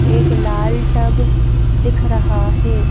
एक लाल टब दिख रहा है।